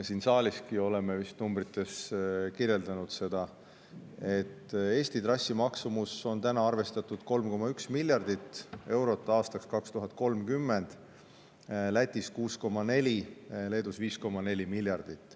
Siin saaliski oleme vist numbrites kirjeldanud seda, et Eesti trassi maksumuseks on täna arvestatud 3,1 miljardit eurot aastaks 2030, Läti omaks 6,4 miljardit eurot ja Leedu omaks 5,4 miljardit eurot.